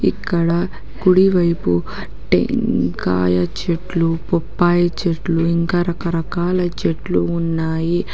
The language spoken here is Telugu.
ఇక్కడ కుడివైపు టెంకాయ చెట్లు బొప్పాయి చెట్లు ఇంకా రకరకాల చెట్లు ఉన్నాయి.